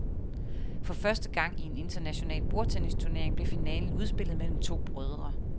For første gang i en international bordtennisturnering blev finalen udspillet mellem to brødre.